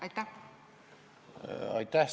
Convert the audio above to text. Aitäh!